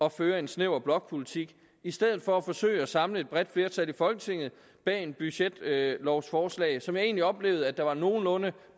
at føre en snæver blokpolitik i stedet for at forsøge at samle et bredt flertal i folketinget bag et budgetlovforslag som jeg egentlig oplevede at der var en nogenlunde